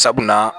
Sabula